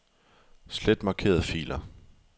Slet markerede filer.